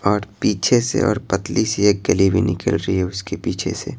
और पीछे से और पतली सी एक गली भी निकल रही है उसके पीछे से--